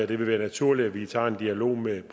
vil være naturligt at vi tager en dialog med